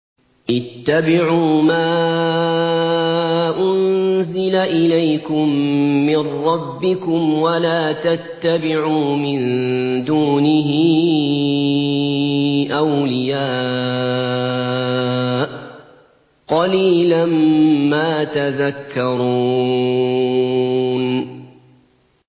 اتَّبِعُوا مَا أُنزِلَ إِلَيْكُم مِّن رَّبِّكُمْ وَلَا تَتَّبِعُوا مِن دُونِهِ أَوْلِيَاءَ ۗ قَلِيلًا مَّا تَذَكَّرُونَ